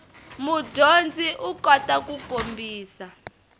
mudyondzi u kota ku kombisa